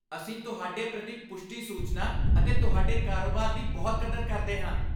ਅਸੀਂ ਤੁਹਾਡੇ ਪ੍ਰਤੀ ਪੁਸ਼ਟੀ ਸੂਚਨਾ ਅਤੇ ਤੁਹਾਡੇ ਕਾਰੋਬਾਰ ਦੀ ਬਹੁਤ ਕਦਰ ਕਰਦੇ ਹਾਂ।